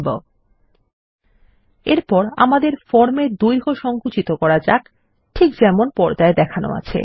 ল্টপাউসেগ্ট এরপর আমাদের ফর্ম এর দৈর্ঘ্য সংকুচিত করা যাক ঠিক যেমন পর্দায় দেখানো আছে